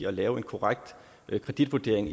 at lave en korrekt kreditvurdering